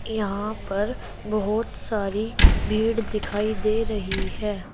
यहां पर बहुत सारी भीड़ दिखाई दे रही है।